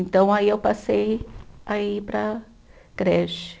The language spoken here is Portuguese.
Então aí eu passei a ir para a creche.